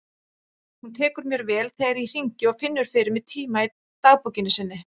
Hún tekur mér vel þegar ég hringi og finnur fyrir mig tíma í dagbókinni sinni.